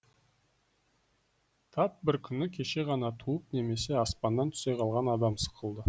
тап бір күні кеше ғана туып немесе аспаннан түсе қалған адам сықылды